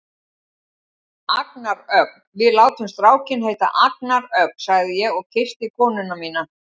Agnar Ögn, við látum strákinn heita Agnar Ögn, sagði ég og kyssti konuna mína.